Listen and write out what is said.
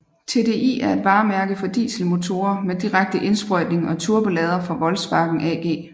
TDI er et varemærke for dieselmotorer med direkte indsprøjtning og turbolader fra Volkswagen AG